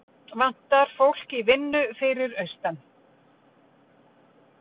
Vantar fólk í vinnu fyrir austan